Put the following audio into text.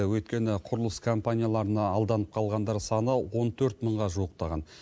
өйткені құрылыс компанияларына алданып қалғандар саны он төрт мыңға жуықтаған